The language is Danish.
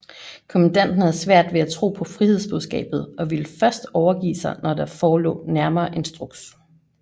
Kommandanten havde svært ved at tro på frihedsbudskabet og ville først overgive sig når der forelå nærmere instruks